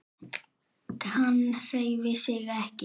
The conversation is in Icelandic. Hann hreyfir sig ekki.